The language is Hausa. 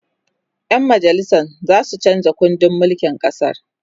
ƴan majalisan zasu chanza kundin mulkin ƙasan